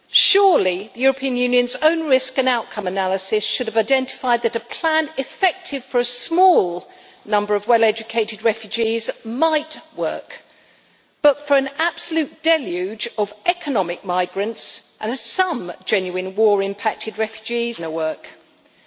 Surely the European Union's own risk and outcome analysis should have identified that a plan effective for a small number of well educated refugees might work, but for an absolute deluge of economic migrants and some genuine war impacted refugees it is never going to work.